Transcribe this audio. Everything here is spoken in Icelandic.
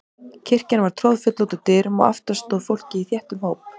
Kirkjan var troðfull út úr dyrum og aftast stóð fólkið í þéttum hóp.